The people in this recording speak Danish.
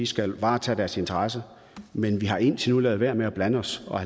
skal varetage deres interesser men vi har indtil nu ladet være med at blande os og